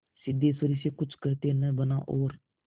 सिद्धेश्वरी से कुछ कहते न बना और